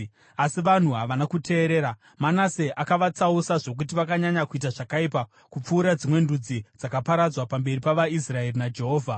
Asi vanhu havana kuteerera. Manase akavatsausa, zvokuti vakanyanya kuita zvakaipa kupfuura dzimwe ndudzi dzakaparadzwa pamberi pavaIsraeri naJehovha.